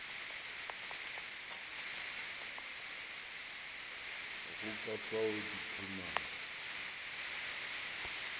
go ka fao di phemago